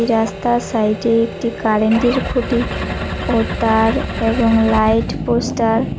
এই রাস্তার সাইডে একটি কারেন্টের খুঁটি ও তার এবং লাইট পোস্টার --